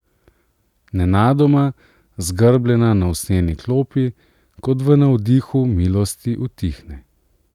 Nenadoma, zgrbljena na usnjeni klopi, kot v navdihu milosti utihne.